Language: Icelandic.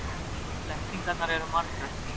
Blekkingarnar eru margar.